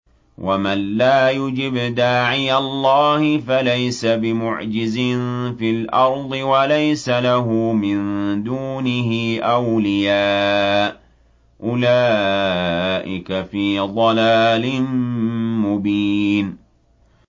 وَمَن لَّا يُجِبْ دَاعِيَ اللَّهِ فَلَيْسَ بِمُعْجِزٍ فِي الْأَرْضِ وَلَيْسَ لَهُ مِن دُونِهِ أَوْلِيَاءُ ۚ أُولَٰئِكَ فِي ضَلَالٍ مُّبِينٍ